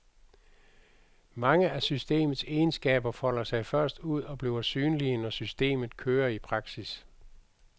Mange af systemets egenskaber folder sig først ud og bliver synlige, når systemet kører i praksis.